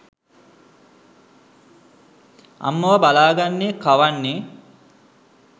අම්මව බලා ගන්නේ කවන්නේ